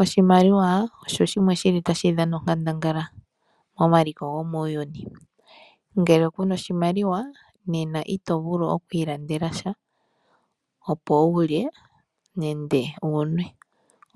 Oshimaliwa osho shimwe shili tashi dhana onkandangala momaliko gomuuyuni . Ngele kuna oshimaliwa nena ito vulu okwiilandela sha opo wulye nenge wunwe,